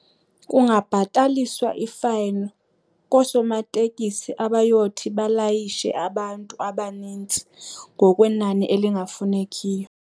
Kungabhataliswa ifayini koosomatekisi abayothi balayishe abantu abanintsi ngokwenani elingafunekiyo.